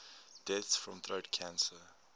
deaths from throat cancer